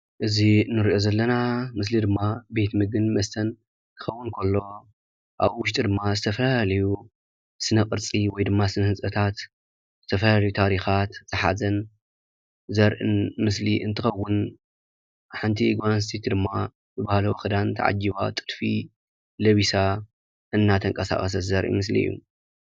እዚ እንርእዮ ዘለና ምስሊ ድማ ቤት ምግብን መስተን ዝከውን ኮይኑ ኣብ ውሽጢ ድማ ዝተፈላለዩ ስነ-ቅርፂ ወይድማ ስነ-ህንፀታት ዝተፈላለዩ ታሪካት ዝሓዘን ዘርኢን ምስሊ አንትከወን ሓንቲ ጓል ኣንስተይቲ ድማ ብባህላዊ ክዳን ተዓጂባ ጥልፊ ለቢሳ እንደተንቀሳቀሰት ዘርኢ ምስሊ እዩ።